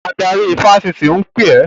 Adarí ifásitì ń pè ẹ́!